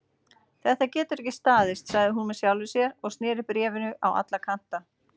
Þetta getur ekki staðist sagði hún með sjálfri sér og snéri bréfinu á alla kanta.